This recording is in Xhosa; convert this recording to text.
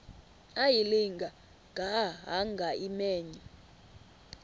ayilinga gaahanga imenywe